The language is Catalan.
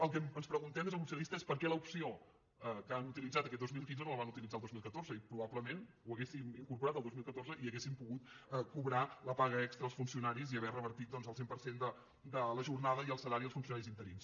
el que ens preguntem des del grup socialista és per què l’opció que han utilitzat aquest dos mil quinze no la van uti·litzar el dos mil catorze i probablement ho haguéssim incor·porat el dos mil catorze i haguessin pogut cobrar la paga extra els funcionaris i haver revertit doncs el cent per cent de la jornada i el salari als funcionaris interins